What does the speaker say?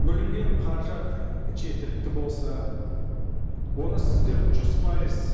бөлінген қаражат жеткілікті болса оны сіздер жүз пайыз